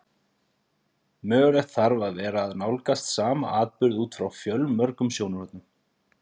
Mögulegt þarf að vera að nálgast sama atburð út frá fjölmörgum sjónarhornum.